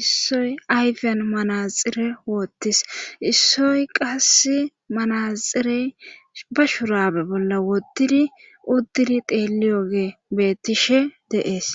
issoy ayfiyan manaxire woottis issoy qasse manaxirey ba shuraabe bolla woddidi uddidi teeliyoge beettishe deees.